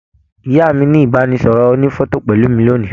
Ìyá mí ní ibanisọrọ ònífọ̀tò pẹlu mi lónìí.